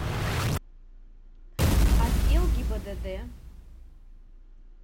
отдел гибдд